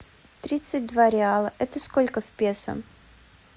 тридцать два реала это сколько в песо